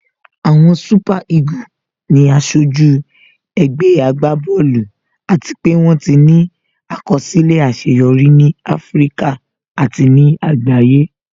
Àwọn super eagle ni aṣojú ẹgbẹ́ agbá bọ́ọ̀lù àti pé wón ti ní àkọsílẹ̀ àṣeyọrí ní Áfíríkà àti ní àgbáyé